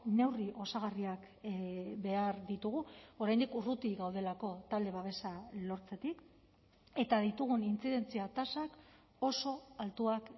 neurri osagarriak behar ditugu oraindik urruti gaudelako talde babesa lortzetik eta ditugun intzidentzia tasak oso altuak